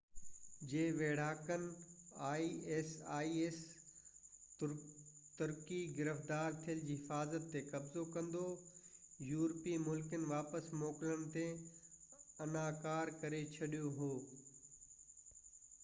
ترڪي گرفتار ٿيل isis جي ويڙهاڪن جي حفاظت تي قبضو ڪندو يورپي ملڪن واپس موڪلڻ تي اناڪار ڪري ڇڏيو آهي